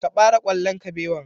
Ka ɓare ƙwallon kabewan.